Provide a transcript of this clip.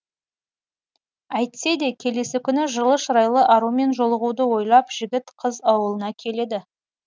әйтсе де келесі күні жылы шырайлы арумен жолығуды ойлап жігіт қыз ауылына келеді